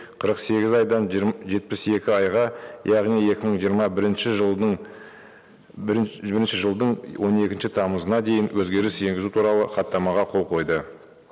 қырық сегіз айдан жетпіс екі айға яғни екі мың жиырма бірінші жылдың бірінші жылдың он екінші тамызына дейін өзгеріс енгізу туралы хаттамаға қол қойды